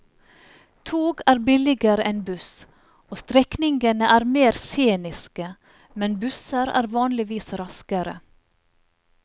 Tog er billigere enn buss, og strekningene er mer sceniske, men busser er vanligvis raskere.